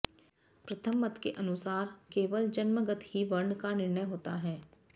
प्रथम मत के अनुसार केवल जन्मगत ही वर्ण का निर्णय होता है